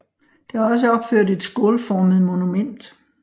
Der er også opført et skålformet monument